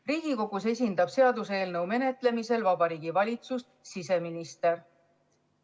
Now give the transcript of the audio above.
Riigikogus esindab seaduseelnõu menetlemisel Vabariigi Valitsust siseminister.